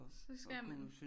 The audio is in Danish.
Så skal man